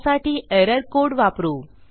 त्यासाठी error code वापरू